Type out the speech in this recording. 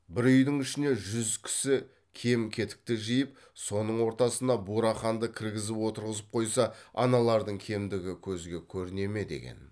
бір үйдің ішіне жүз кісі кем кетікті жиып соның ортасына бураханды кіргізіп отырғызып қойса аналардың кемдігі көзге көріне ме деген